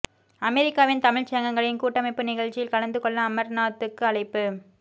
அமெரிக்காவின் தமிழ் சங்கங்களின் கூட்டமைப்பு நிகழ்ச்சியில் கலந்து கொள்ள அமர்நாத்துக்கு அழைப்பு